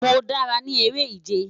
Mo dara ni ere-ije